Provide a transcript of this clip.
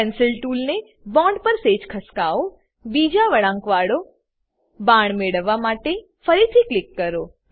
pencil ટૂલને bond પર સેજ ખસકાવો બીજો વળાંકવાળો બાણ મેળવવા માટે ફરીથી ક્લિક કરો